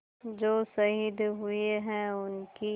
जो शहीद हुए हैं उनकी